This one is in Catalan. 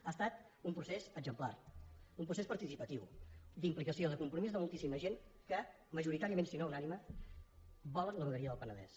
ha estat un procés exemplar un procés participatiu d’implicació de compromís de moltíssima gent que majoritàriament si no unànime volen la vegueria del penedès